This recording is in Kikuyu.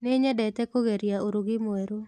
Nĩnyedete kũgeria ũrugi mwerũ.